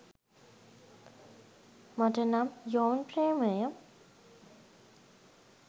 මට නම් යොවුන් ප්‍රේමය